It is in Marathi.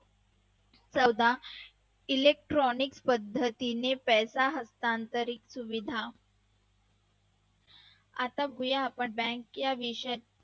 चौदा electrictonic पद्धतीने पद्धतीने पैसा असणारे हस्तांतरित सुविधा आता वळूया आपण bank या विषयात